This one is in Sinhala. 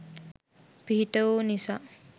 පිහිටවූ නිසා